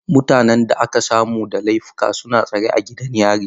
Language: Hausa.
Mutanen da aka samu da laifuka suna tsare a gidan yari.